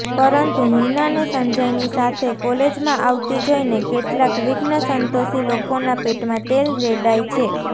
પરંતુ હિનાને સંજયની સાથે કોલેજમાં આવતી જોઇને કેટલાક વિઘ્નસંતોષી લોકોના પેટમાં તેલ રેડાય છે